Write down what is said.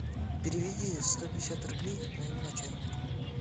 переведи сто пятьдесят рублей моему начальнику